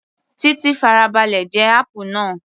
Titi farabalẹ̀ gé apple náà